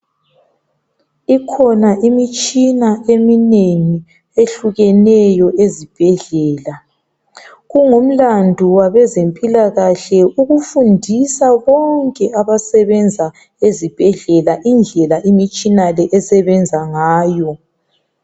Ikhona imitshina eminengi ehlukeneyo ezibhedlela, kungumlandu wabezempilakahle ukufundisa bonke abasebenza ezibhedlela indlela imitshina le esebenza ngayo.